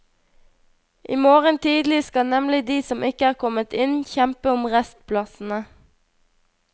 I morgen tidlig skal nemlig de som ikke er kommet inn, kjempe om restplassene.